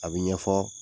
A bɛ ɲɛfɔ